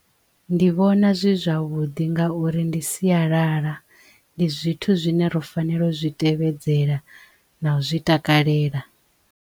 Ndi vhona zwi zwavhuḓi ngauri ndi sialala ndi zwithu zwine ro fanela u zwi tevhedzela na u zwi takalela.